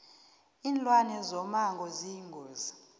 linlwane zomango ziyingozi